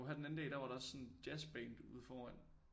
Jo her den anden dag der var der også sådan jazzband ude foran